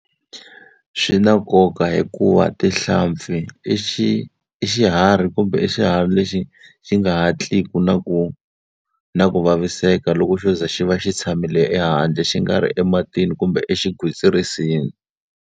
Swi na nkoka hikuva tihlampfi i i xiharhi kumbe xiharhi lexi xi nga hatlisi na ku na ku vaviseka loko xo ze xi va xi tshamile ehandle xi nga ri ematini kumbe exigwitsirisini.